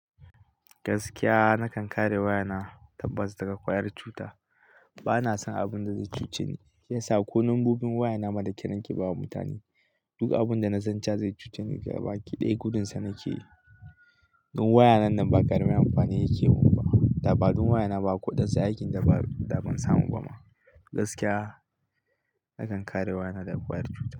Gaskiya na kan kare waya na, tabbas daga ƙwayar cuta. Bana son abun da zai cuce ni, shiyasa ko lambobin waya na ma da kyar nake bawa mutane. Duk abun da na san cewa zai cuce ni, gabaki ɗaya gudun sa nake yi. Dun wayana nan ba karami amfani yake mun ba, dabaɗun waya na ba akwai waɗansu aikin daba daban samu ba ma. Gaskiya nakan kare waya na daga ƙwayar cuta.